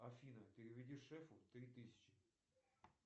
афина переведи шефу три тысячи